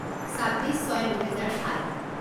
ছাব্বিছ ছয় দুহেজাৰ সাত